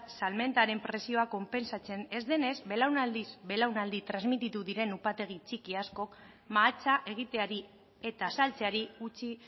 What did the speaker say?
salmentaren prezioa konpentsatzen ez denez belaunaldiz belaunaldi transmititu diren upategi txiki askok mahatsa egiteari eta saltzeari utzi